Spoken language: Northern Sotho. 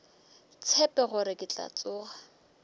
tshepe gore ke tla tsoga